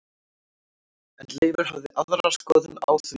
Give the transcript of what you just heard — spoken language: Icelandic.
En Leifur hafði aðra skoðun á því.